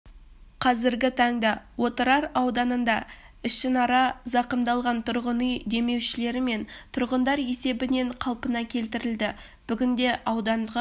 қазіргі таңда отырар ауданында ішінара зақымдалған тұрғын үй демеушілер мен тұрғындар есебінен қалпына келтірілді бүгінде ауданға